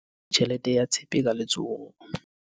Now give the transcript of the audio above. o fupere tjhelete ya tshepe ka letsohong